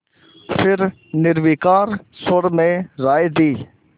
फिर निर्विकार स्वर में राय दी